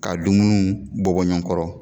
Ka dumununw bɔbɔ ɲɔɔn kɔrɔ